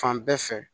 Fan bɛɛ fɛ